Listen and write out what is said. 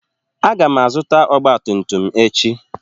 Aga m azụta ọgba tum tum echi.